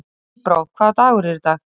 Tíbrá, hvaða dagur er í dag?